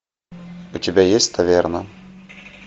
у тебя есть таверна